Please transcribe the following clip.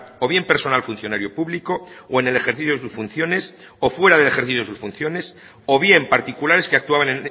o bien personal funcionario público o en el ejercicio de sus funciones o fuera del ejercicio de sus funciones o bien particulares que actuaban